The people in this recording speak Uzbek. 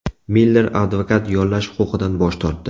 Miller advokat yollash huquqidan bosh tortdi.